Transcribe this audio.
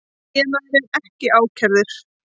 Eiginmaðurinn ekki ákærður